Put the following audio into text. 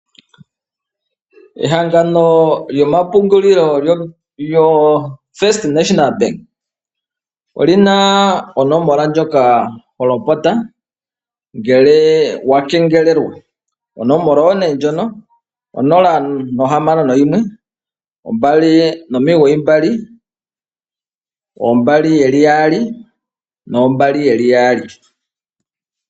Ehangano lyomapungulilo lyoFirst National Bank oli na onomola ndjoka ho lopota ngele wakengelelwa. Onomola oyo nee ndjono 0612992222.